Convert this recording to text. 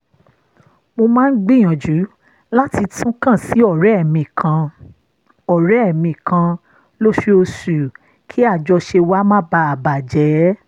mo máa ń gbìyànjú láti tún kàn sí ọ̀rẹ́ mi kan ọ̀rẹ́ mi kan lóṣooṣù kí àjọṣe wa má baà bà jẹ́